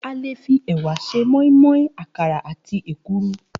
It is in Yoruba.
A lè fi è̩wà s̩e mó̩ín-mó̩ín, àkàrà àti èkuru